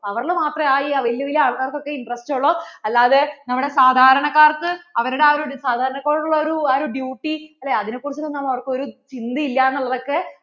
power ൽ മാത്രവേ ആ വെല്യ വെല്യ ആൾക്കാർക്ക് ഒക്കേ ഇന്റ interest ഉള്ളു അല്ലാതെ നമ്മടെ സാധാരണക്കാർക്ക് അവരുടെ ആ സാധാരണക്കാരോടുള്ള ആ ഒരു duty അതിനേ കുറിച്ചു എന്താണ് അവർക്കു ഒരു ചിന്ത ഇല്ലാന്ന് ഉള്ളത് ഒക്കെ